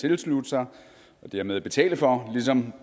tilslutte sig og dermed betale for ligesom